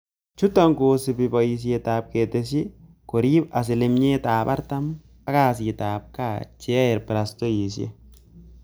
Chuutok koosupi paisyet ap ketesyet koriib asilimiet 40 ap kasiit ap kaa cheyae brastaoisiek.